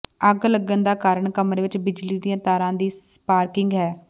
ਅੱਗ ਲੱਗਣ ਦਾ ਕਾਰਨ ਕਮਰੇ ਵਿੱਚ ਬਿਜਲੀ ਦੀਆਂ ਤਾਰਾਂ ਦੀ ਸਪਾਰਕਿੰਗ ਹੈ